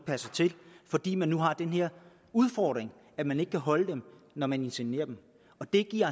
passer til fordi man nu har den her udfordring at man ikke kan holde dem når man inseminerer dem det giver